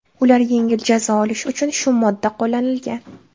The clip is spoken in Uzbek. Ular yengil jazo olishi uchun shu modda qo‘llanilgan.